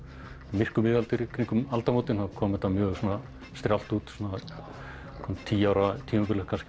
myrku miðaldir kringum aldamótin þá kom þetta mjög strjált út það kom tíu ára tímabil